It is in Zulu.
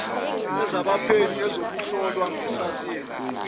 ezabaphenyi ezokuhlola ngesayensi